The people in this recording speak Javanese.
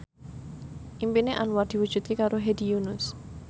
impine Anwar diwujudke karo Hedi Yunus